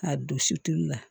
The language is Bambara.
K'a don sutulu la